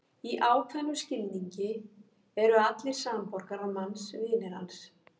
Í ákveðnum skilningi eru allir samborgarar manns vinir hans.